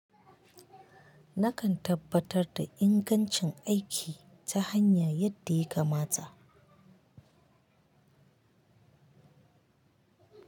Nakan tabbatar da ingancin aiki ta hanya yadda ya kamata.